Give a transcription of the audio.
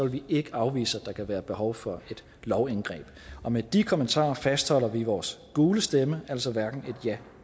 vi ikke afvise at der kan være behov for et lovindgreb med de kommentarer fastholder vi vores gule stemme altså hverken et ja